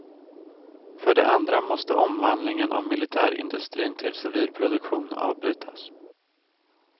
För det andra måste omvandlingen av militärindustrin till civil produktion avbrytas.